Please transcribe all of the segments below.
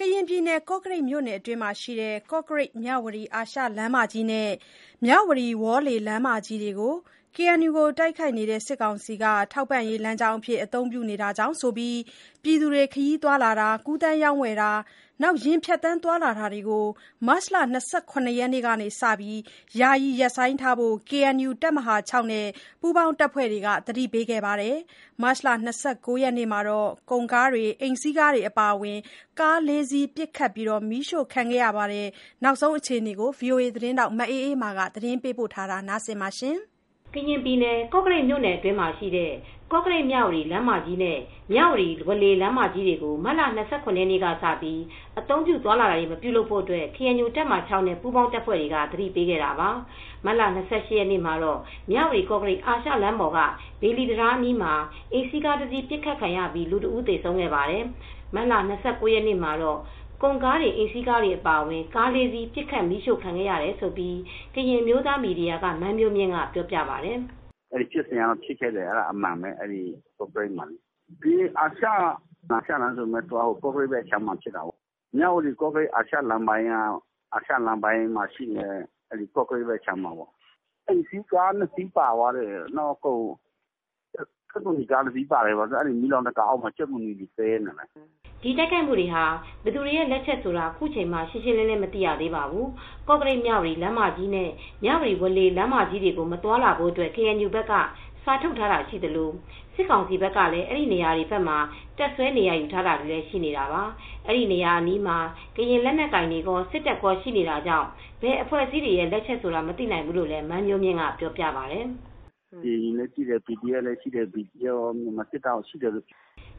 ကရင်ပြည်နယ် ကော့ကရိတ်မြို့နယ်အတွင်းမှာရှိတဲ့ ကော့ကရိတ်-မြဝတီ အာရှလမ်းမကြီးနဲ့ မြဝတီ-ဝေါ်လေ လမ်းမကြီးတွေကို KNU ကို တိုက်ခိုက်နေတဲ့ စစ်ကောင်စီက ထောက်ပံ့ရေးလမ်းကြောင်းအဖြစ်အသုံးပြုနေတာကြောင့်ဆိုပြီး ပြည်သူတွေ ခရီးသွားလာတာ၊ ကူသန်းရောင်းဝယ်တာ၊ ယာဉ်ဖြတ်သန်းသွာလာတာကို မတ်လ ၂၇ ရက်နေ့ကစပြီး ယာယီရပ်ဆိုင်းထားဖို့ KNU တပ်မဟာ (၆) နဲ့ ပူးပေါင်းအဖွဲ့တွေက သတိပေးခဲ့ပါတယ်။ မတ်လ ၂၉ ရက်နေ့မှာတော့ ကုန်ကားတွေ၊ အိမ်စီးကားတွေအပါအဝင် ကား ၄ စီး ပစ်ခတ်မီးရှို့ခံခဲ့ရပါတယ်။ ဒီသတင်းကို ဗွီအိုအေသတင်းထောက် မအေးအေးမာက သတင်းပေးပို့ထားပါတယ်။ ကရင်ပြည်နယ် ကော့ကရိတ်မြို့နယ်အတွင်းမှာရှိတဲ့ ကော့ကရိတ်-မြဝတီလမ်းမကြီးနဲ့ မြဝတီ-ဝေါ်လေ လမ်းမကြီးတွေကို မတ်လ ၂၇ ရက်ကစပြီး အသုံးပြုသွားလာခြင်း မပြုပါနဲ့လို့ KNU တပ်မဟာ (၆) နဲ့ ပူးပေါင်းအဖွဲ့တွေက သတိပေးခဲ့တာပါ။ မတ်မတ်လ ၂၈ ရက်မှာ မြဝတီ-ကော့ကရိတ်အာရှလမ်းပေါ်က ဘေလီတံတားအနီးမှာ အိမ်စီးကားတစီး အပစ်ခံရပြီး လူတဦးသေဆုံးခဲ့ပါတယ်။ မတ်လ ၂၉ ရက်နေ့မှာတော့ ကုန်ကားတွေ၊ အိမ်စီးကားတွေအပါအဝင် ကား ၄ စီး ပစ်ခတ် မီးရှို့ခံရတယ်လို့ ကရင်အမျိုးသားမီဒီယာက မန်းမျိုးမြင့်ကပြောပြပါတယ်။ “ကား ၄ စီး မီးရှို့ခံရတယ်။ ဘယ်အဖွဲ့အစည်းက လုပ်တယ်ဆိုတာတော့မသိရဘူး။ ဖြစ်စဉ်က ဖြစ်ခဲ့တယ်၊ အမှန်ပဲ။ အဲဒီ ကော့ကရိတ်မှာဖြစ်တယ်။ အာရှလမ်းမမှာဆိုပေမယ့် ကော့ကရိတ်ဘက်ခြမ်းမှာဖြစ်တယ်။ မြဝတီ-ကော့ကရိတ်လမ်းက တတန်ကူးဆိုတဲ့နေရာအနီးမှာဖြစ်တာ။ တတန်ကူးဆိုတာက တောနော်ရေတံခွန်နဲ့ အနီးတဝိုက်မှာပါ။ အိမ်စီးကား ၂ စီးပါတယ်။ ကြက်သွန်နီကားတစီးလည်းပါတယ်။ ကားအောက်မှာ ကြက်သွန်နီတွေပြန့်ကျဲနေတယ်။” ဒီတိုက်ခိုက်မှုတွေက ဘယ်သူ့လက်ချက်လဲဆိုတာ ခုချိန်မှာ ရှင်းရှင်း မသိရသေးပါဘူး။ ကော့ကရိတ်-မြဝတီ လမ်းမကြီးနဲ့ မြဝတီ-ဝေါ်လေ လမ်းမကြီးတွေကို မသွားလာဖို့ ကေအန်ယူဘက်က စာထုတ် ထားတာရှိသလို စစ်ကောင်စီဘက်ကလည်း အဲဒီနေရာတွေဘက်မှာ တပ်စွဲနေရာယူထားတာ ရှိနေတာပါ။အဲဒီနေရာအနီးမှာ ကရင်လက်နက်ကိုင်တွေကော စစ်တပ်ကောရှိနေတာကြောင့် ဘယ်အဖွဲ့အစည်းရဲ့ လက်ချက်ဆိုတာ မသိနိုင်ဘူးလို့ မန်းမျိုးမြင့်က ပြောပါတယ်။ “ဘယ်သူ့လက်ချက်မှန်းမသိဘူး။ အဲဒီမှာ KNU လည်းရှိတယ်၊ BGF လည်းရှိတယ်။ မြန်မာစစ်တပ်လည်းရှိတယ်။ အဲဒီ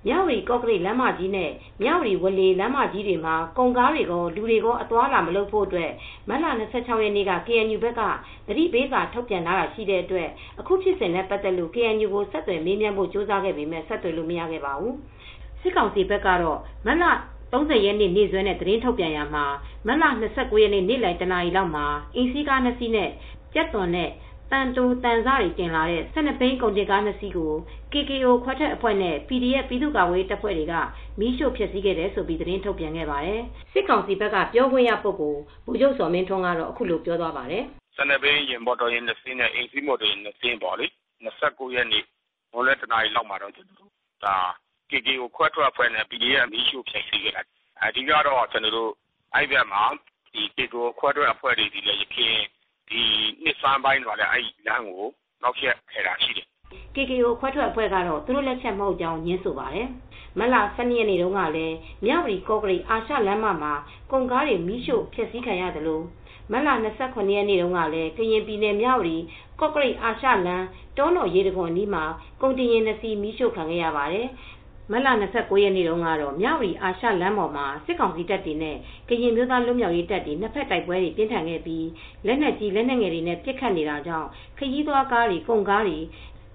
နေရာမှာက..။” မြဝတီ-ကော့ကရိတ် လမ်းမကြီးနဲ့ မြဝတီ-ဝေါ်လေ လမ်းမကြီးတွေမှာ ကုန်တွေကော လူတွေပါ အသွားအလာမလုပ်ဖို့ မတ်လ၂၆ ရက်နေ့က ကေအန်ယူဘက်က သတိပေးစာထုတ်ထားတာရှိတဲ့အတွက် အခုဖြစ်စဉ်နဲ့ပတ် သက်လို့ ကေအန်ယူကို ဆက်သွယ်မေးမြန်းဖို့ကြိုးစားခဲ့ပေမယ့် ဆက်သွယ်လို့မရခဲ့ပါဘူူ။ စစ်ကောင်စီဘက် ကတော့ မတ်လ ၃၀ ရက်နေ့စွဲနဲ့သတင်းထုတ်ပြန်ရာမှာ မတ်လ ၂၉ ရက်နေ့ နေ့လယ် ၁ နာရီလောက်မှာ အိမ်စီးကား ၂ စီးနဲ့ ကြက်သွန်နဲ့သံတိုသံစတင်လာတဲ့ ၁၂ ဘီးကုန်ကား၂ စီးကို KKO ခွဲထွက်အဖွဲ့နဲ့ PDF ပြည်သူ့ကာကွယ်ရေးတပ်ဖွဲ့တွေက မီးရှို့ဖျက်စီးခဲ့တယ်လို့ သတင်းထုတ်ပြန်ခဲ့ပါတယ်။ စစ်ကောင်စီဘက်က ပြောခွင်ံ့ရ ဗိုလ်ချုပ်ဇော်မင်းထွန်းကတော့ အခု လိုပြောသွားပါတယ်။ “ကော့ကရိတ်-မြဝတီသွားကားလမ်းမှာ ၁၂ ဘီး မော်တော်ယာဉ်နှစ်စီးနဲ့ အိမ်စီးမော်တော်ယာဉ် နှစ်စီးကို KKO ခွဲထွက်အဖွဲနဲ့ PDF အဖွဲ့က မီးရှို့ဖျက်စီးခဲ့တာဖြစ်တယ်။ အဓိက KKO ခွဲထွက်အဖွဲ့က ဒီနှစ် နှစ်ဆန်းပိုင်းတုန်းကလည်း နှောက်ယှက်ဖျက်ဆီးခဲ့တာရှိတယ်။” တိုးတက်သော ဗုဒ္ဓဘာသာကရင်အမျိုးသားတပ်မတော် DKBA (KKO ) ခွဲထွက်အဖွဲ့ကတော့ သူတို့ လက်ချက် မဟုတ်ကြောင်း ငြင်းဆိုပါတယ်။ မတ်လ ၁၂ ရက်နေ့တုန်းကလည်း မြဝတီ-ကောကရိတ် အာရှလမ်းမှာ ကုန်ကားတွေ မီးရှို့ဖျက်စီးခံရသလို မတ်လ ၂၇ ရက်နေ့တုန်းကတော့ ကရင်ပြည်နယ် မြဝတီ-ကော့ကရိတ် အာရှလမ်း တောနော်ရေတံခွန်အနီးမှာ ကုန်တင်ယာဉ် ၂ စီးမီးရှို့ခံရပါတယ်။ မတ်လ ၂၉ ရက်နေ့ကတော့ မြဝတီ အာရှလမ်းမကြီးပေါ်မှာ စစ်ကောင်စီတပ်တွေနဲ့ ကရင်အမျိုးသားလွတ်မြောက်ရေးတပ်တွေ နှစ်ဘက်တိုက်ပွဲတွေ ပြင်းထန်ခဲ့ပြီး လက်နက်ကြီး လက်နက်ငယ်တွေနဲ့ ပစ်ခတ်နေတာကြောင့် ခရီးသွားကားတွေ၊ ကုန်ကားတွေ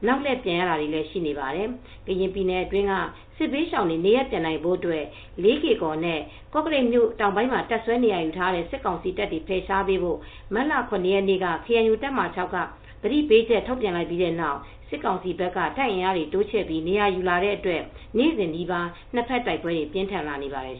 နောက်လှည့်ပြန်ရတာတွေလည်းရှိပါတယ်။ ကရင်ပြည်နယ်အတွင်းက စစ်ဘေးရှောင်တွေနေရပ်ပြန်နိုင်ဖို့အတွက် လေးကေ့ကော်နဲ့ကော့ကရိတ်မြို့ တောင် ပိုင်းမှာ တပ်စွဲနေရာယူထားတဲ့ စစ်ကောင်စီတပ်တွေ ဖယ်ရှားပေးဖို့ မတ်လ ၇ ရက်နေ့က ကေအန်ယူတပ်မဟာ (၆) ကသတိပေးချက်ထုတ်ခဲ့ပြီးတဲ့နောက် စစ်ကောင်စီဘက်က တပ်အင်အားတွေတိုးချဲ့ပြီး နေရာယူလာတဲ့အတွက် နေ့စဉ်နီးပါး နှစ်ဘက်တိုက်ပွဲတွေ ပြင်းထန်လာနေပါတယ်